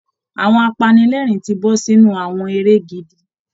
Àwọn apanilẹ́ẹ̀rín ti bọ́ sínú àwọn eré gidi